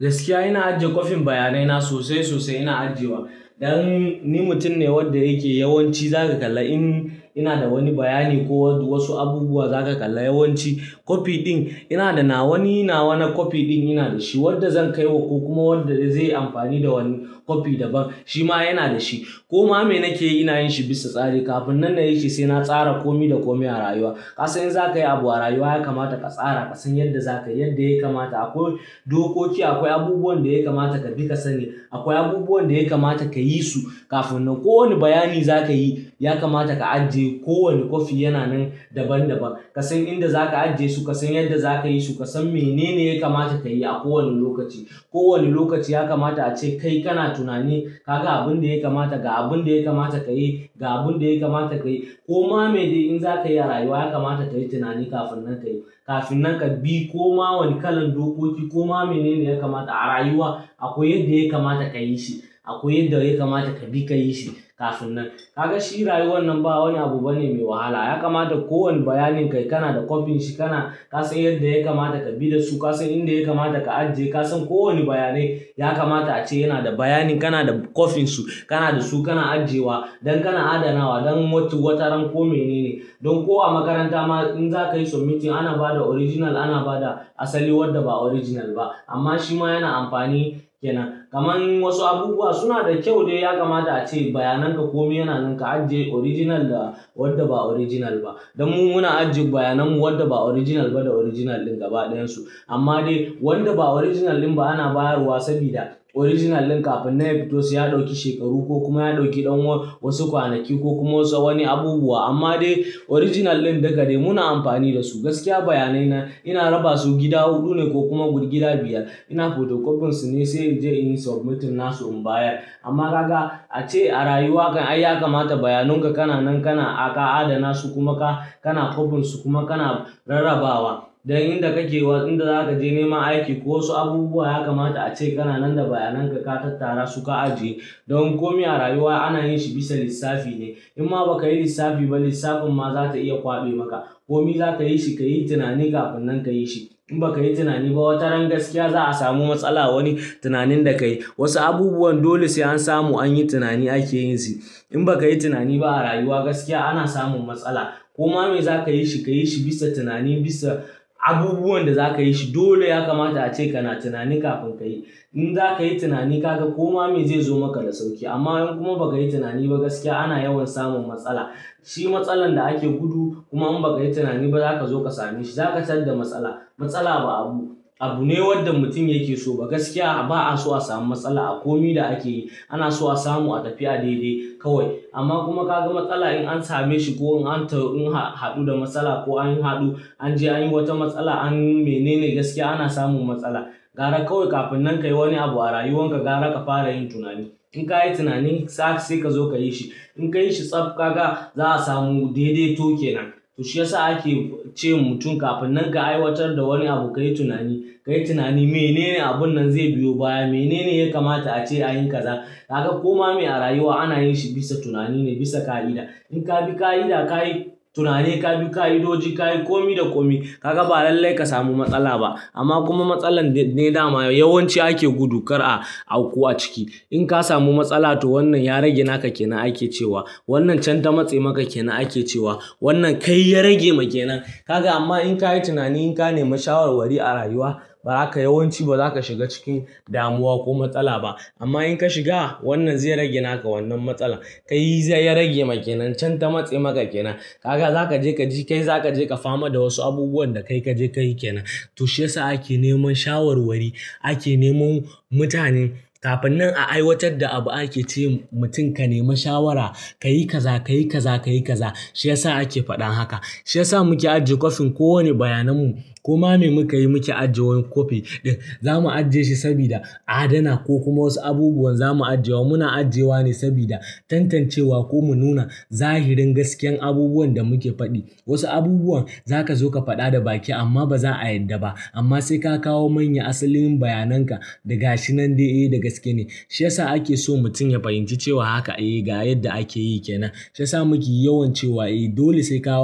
Gaskiya ina ajiye kwafin bayanai na sosai sosai ina ajiyewa. Dan ni mutum ne wanda yake yawanci za ka kalla in ina da wani bayani ko wasu abubuwa za ka kalla yawanci kwafi din ina da nawa. Wani nawa na kwafi din ina da shi wanda zan kaiwa ko kuma wanda zai yi amfani da wani kwafi daban. Shi ma yana da shi. Koma me nake yi? Ina yin shi bisa tsari. Kafin nan na yi shi sai na tsara kome da kome a rayuwa. Kasan in za ka yi abu a rayuwa ya kamata ka tsara. Ka san yadda za ka yi yadda ya kamata. Akwai dokoki. Akwai abubuwan da ya kamata ka dinga sani. Akwai abubuwan da ya kamata ka yi su kafin nan kowanne bayani za ka yi. Ya kamata ka ajiye. Kowane kwafi yana nan daban daban. Ka san inda za ka ajiye su. Ka san yadda za ka yi su. Ka san menene ya kamata ka yi a kowane lokaci. Kowanne lokaci ya kamata ace kai kana tunani. Kaga abin da ya kamata ga abun da ya kamata ka yi ga abun da ya kamata ka yi. Koma me de in za ka yi a rayuwa ya kamata ka yi tunani kafin nan ka yi kafin nan ka yi. Koma wane kalar dokoki. Koma menene ya kamata a rayuwa. Akwai yadda ya kamata ka yi shi. Akwai yadda ya kamata ka bi ka yi shi kafin nan. Kaga shi rayuwar nan ba wani abu bane mai wahala. Ya kamata kowanne bayanin ka kana da kwafin shi. Kana ka san yadda ya kamata ka bi da su. Ka san inda ya kamata ka ajiye. Ka san kowane bayanai ya kamata ace yana da bayanin kana da kwafin su. Kana da su kana ajiyewa don kana adanawa. Don wataran ko menene. Don ko a makaranta ma in za ka yi submission ana ba da original. Ana ba da asalin wanda ba original ba amma shi ma yana amfani kenan. Kaman wasu abubuwa suna da kyau dai. Ya kamata ace bayanan ka kome yana nan ka ajiye original da wanda ba original ba. Don mu muna ajjiye bayanan mu wanda ba original ba da original din gaba ɗayan su. Amma dai wanda ba original din ba ana bayarwa saboda original din kafin nan ya fito sai ya ɗauki shekaru ko kuma ya ɗauki ɗan wasu kwanaki ko kuma wasu wani abubuwa. Amma dai original din duka dai muna amfani da su gaskiya bayanai na ina raba su gida huɗu ne ko kuma guda gida biyar. Ina photocopy su ne sai in je in yi submission na su in bayar. Amma ka ga ace a rayuwa kam ai ya kamata bayanan ka kananan kana adana su kuma ka kana kwafin su kuma kana rarrabawa. Dan inda kake wa inda za ka je nema aiki ko wasu abubuwa ya kamata ace kananan da bayanan ka ka tattara su ka ajiye. Don kome a rayuwa ana yin shi bisa lissafi ne. In ma ba ka yi lissafi ba lissafin ma za ta iya kwaɓe maka. Kome za ka yi shi ka yi tunani kafin nan ka yi shi. In ba ka yi tunani ba wataran gaskiya za a samu matsala wani tunanin da ka yi. Wasu abubuwan dole sai an samu an yi tunani ake yin su. In ba ka yi tunani ba a rayuwa gaskiya ana samun matsala. Koma me za ka yi shi, ka yi shi bisa tunani bisa abubuwan da za ka yi shi. Dole ya kamata ace kana tunani kafin ka yi. In za ka yi tunani ka ga koma me zai zo maka da sauƙi. Amma in kuma ba ka yi tunani ba gaskiya ana yawan samun matsala. Shi matsalar da ake gudu kuma in ba ka yi tunani ba za ka zo ka same shi. Za ka tar da matsala. Matsala ba abu, abu ne wanda mutum yake so ba. Gaskiya ba a so a samu matsala a kome da ake yi. Ana so a samu a tafi a daidai kawai. Amma kuma ka ga matsala in an same shi ko in an haɗu da matsala ko an haɗu an je an yi wata matsala an yi menene gaskiya ana samun matsala. Gara kawai kafin nan ka yi wani abu a rayuwan ka gara ka fara yin tunani. In ka yi tunanin sa sai ka zo ka yi shi. In ka yi shi tsaf kaga za a samu daidaito ke nan. Shi ya sa ake ce mutum kafin nan ka aiwatar da wani abu ka yi tunani. Ka yi tunani menene abun nan zai biyo baya. Menene ya kamata ace a yi kaza. Kaga koma me a rayuwa ana yin shi bisa tunani ne bisa ka'ida. In ka bi ka'ida ka yi tunani ka bi ka'idoji ka yi kome da kome ka ga ba lallai ka samu matsala ba. Amma kuma matsalar ne dama yawanci ake gudu kar a auku a ciki. In ka samu matsala to wannan ya rage naka kenan ake cewa. Wannan can ta matse maka kenan ake cewa. Wannan kai ya rage ma kenan. Kaga amma in ka yi tunani in ka nemi shawarwari a rayuwa ba haka yawanci ba za ka shiga cikin damuwa ko matsala ba. Amma in ka shiga wannan zai rage naka wannan matsala. Kai zai ya rage maka kenan can ta matse maka kenan. Kaga za ka je ka ji kai za ka je ka fama da wasu abubuwan da kai ka je ka yi kenan. To shi ya sa ake neman shawarwari ake neman mutane. Kafin nan a aiwatar da abu ake ce mutum ka nemi shawara. Ka yi kaza ka yi kaza ka yi kaza. Shi ya sa ake faɗan haka. Shi ya sa muke ajiye kwafin kowane bayanan mu. Koma me muka yi muke ajiye kwafi din. Za mu ajiye shi saboda adana ko kuma wasu abubuwan za mu ajiye wa. Muna ajiyewa ne saboda tantancewa ko mu nuna zahirin gaskiyar abubuwan da muke faɗi. Wasu abubuwan za ka zo ka faɗa da baki amma ba za a yarda ba. Amma sai ka kawo manyan asalin bayanan ka daga shi nan dai eh da gaske ne. Shi ya sa ake so mutum ya fahimci cewa haka eh ga yadda ake yi kenan. Shi ya sa muke yawan cewa dole sai ka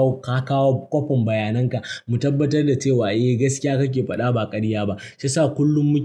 kawo kwafin bayanan ka mu tabbatar da cewa gaskiya kake faɗa ba ƙarya ba. Shi ya sa kullum mu.